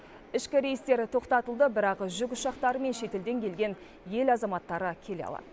ішкі рейстер тоқтатылды бірақ жүк ұшақтары мен шетелден келген ел азаматтары келе алады